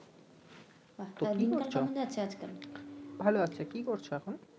ভাল আছি কি করছ এখন?